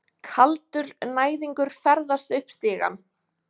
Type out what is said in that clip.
Kaldur næðingur ferðast upp stigann.